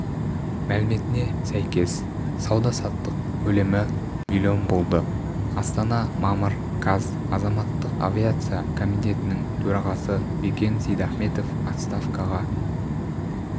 мәліметіне сәйкес сауда-саттық көлемі млн болды астана мамыр қаз азаматтық авиация комитетінің төрағасы бекен сейдахметов отставкаға